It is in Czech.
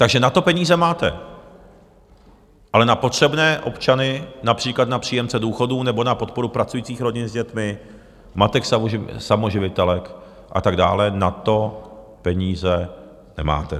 Takže na to peníze máte, ale na potřebné občany, například na příjemce důchodů nebo na podporu pracujících rodin s dětmi, matek samoživitelek a tak dále, na to peníze nemáte.